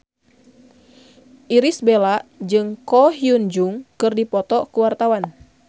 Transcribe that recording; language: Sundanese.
Irish Bella jeung Ko Hyun Jung keur dipoto ku wartawan